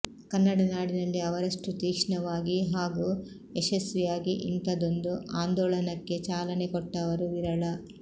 ಕನ್ನಡ ನಾಡಿನಲ್ಲಿ ಅವರಷ್ಟು ತೀಕ್ಷ್ಣವಾಗಿ ಹಾಗೂ ಯಶಸ್ವಿಯಾಗಿ ಇಂಥದೊಂದು ಆಂದೋಳನಕ್ಕೆ ಚಾಲನೆ ಕೊಟ್ಟವರು ವಿರಳ